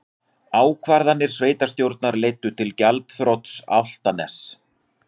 Ákvarðanir sveitarstjórnar leiddu til greiðsluþrots Álftaness